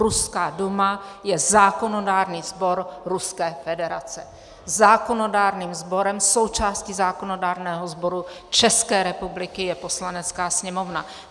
Ruská Duma je zákonodárný sbor Ruské federace, zákonodárným sborem, součástí zákonodárného sboru České republiky je Poslanecká sněmovna.